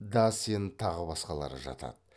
дассен тағы басқалары жатады